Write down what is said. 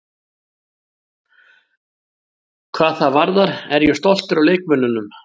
Hvað það varðar er ég stoltur af leikmönnunum.